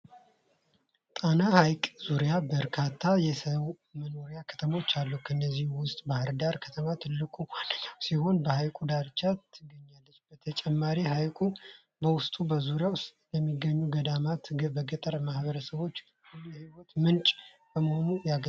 ጣና ሐይቅ ዙሪያ በርካታ የሰው መኖሪያና ከተሞች አሉ። ከእነዚህ ውስጥ ባሕር ዳር ከተማ ትልቁና ዋነኛው ሲሆን፣ በሐይቁ ዳርቻ ትገኛለች። በተጨማሪም፣ ሐይቁ በውስጡና በዙሪያው ለሚገኙት ገዳማትና ገጠራማ ማኅበረሰቦች ሁሉ የሕይወት ምንጭ በመሆን ያገለግላል።